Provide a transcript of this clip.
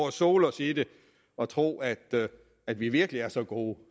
og sole os i det og tro at at vi virkelig er så gode